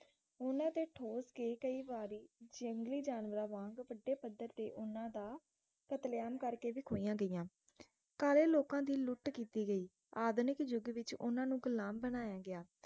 ਉਨ੍ਹਾਂ ਦੇ ਠੋਕ ਕੇ ਕਯੀ ਵਾਰੀ ਜੰਗਲੀ ਜਾਨਵਰਾਂ ਵਾਂਗ ਵਡੇ ਪੱਧਰ ਤੇ ਓਹਨਾ ਦਾ ਕਤਲੇਆਮ ਕਰਕੇ ਵੀ ਖੋਇਆਂ ਗਿਆ ਕਾਲੇ ਲੋਕਾਂ ਦੀ ਲੁੱਟ ਕੀਤੀ ਗਈ ਆਧੁਨਿਕ ਯੁਗ ਵਿਚ ਉਹਨਾਂ ਨੂੰ ਗੁਲਾਮ ਬਨਾਯਾ ਗਿਆ